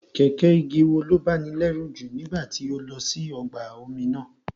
Kẹ̀kẹ́ igi wo ló báni lẹ́rù jù nígbà tí o lọ sí ọgbà omi náà?